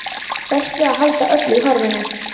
Berst við að halda öllu í horfinu.